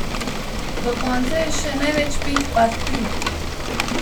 Do konca je še največ pet partij.